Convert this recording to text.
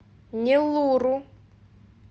неллуру